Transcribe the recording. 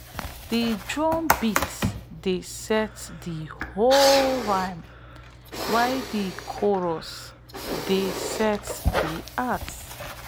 dat rice-weeding tune dey sound like a bird call wey dey echo through wet fields